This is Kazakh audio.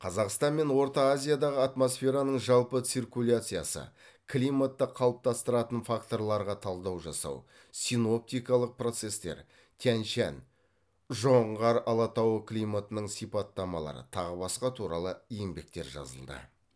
қазақстан мен орта азиядағы атмосфераның жалпы циркуляциясы климатты қалыптастыратын факторларға талдау жасау синоптикалық процестер тянь шань жоңғар алатауы климатының сипаттамалары тағы басқа туралы еңбектер жазылды